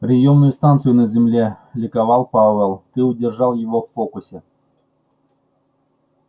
приёмную станцию на земле ликовал пауэлл ты удержал его в фокусе